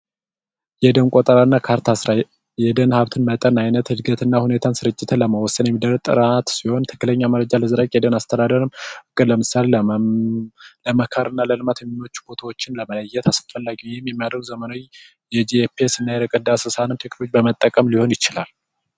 የደን ቆጠራና ካርታ ስራ የደን ቆጠራ አይነት መጠንና ስርጭት ለመቆጣጠር የሚደረግ ጥናት ሲሆን ትክክለኛ መረጃ ለማስተዳደር ለምሳሌ ለልማት የሚሆኑ ቦታዎችን ለመለየት አስፈላጊ ነው በዘመናዊ መንገድ የርቀት ዳሰሳ እና ጂፒኤስ በመጠቀም ሊሆን ይችላል።